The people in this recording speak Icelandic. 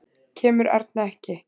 Kemur Erna ekki!